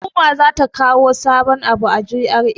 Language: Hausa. Hukuma za ta kawo sabun abu a GRA.